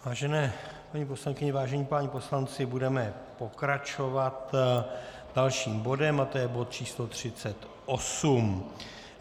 Vážené paní poslankyně, vážení páni poslanci, budeme pokračovat dalším bodem a to je bod číslo